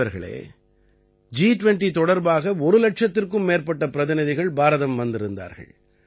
நண்பர்களே ஜி20 தொடர்பாக ஒரு இலட்சத்திற்கும் மேற்பட்ட பிரதிநிதிகள் பாரதம் வந்திருந்தார்கள்